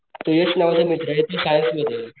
तो यश माझा मित्र तो सायन्स मध्ये